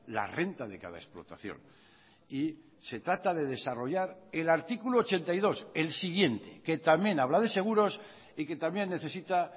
la renta de cada explotación y se trata de desarrollar el artículo ochenta y dos el siguiente que también habla de seguros y que también necesita